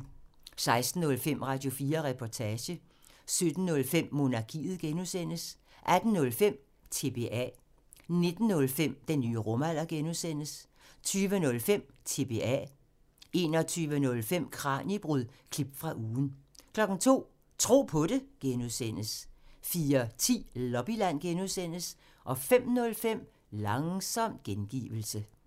16:05: Radio4 Reportage 17:05: Monarkiet (G) 18:05: TBA 19:05: Den nye rumalder (G) 20:05: TBA 21:05: Kraniebrud – klip fra ugen 02:00: Tro på det (G) 04:10: Lobbyland (G) 05:05: Langsom gengivelse